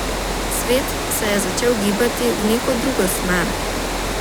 Svet se je začel gibati v neko drugo smer.